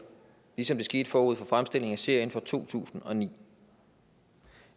ligesom det skete forud for fremstillingen af serien fra to tusind og ni